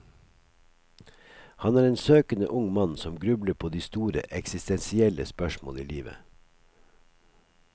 Han er en søkende ung mann som grubler på de store, eksistensielle spørsmål i livet.